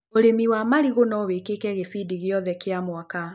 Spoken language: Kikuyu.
ũrĩmi wa marigũ no wĩkĩke gĩbindi o gĩothe kĩa mwaka.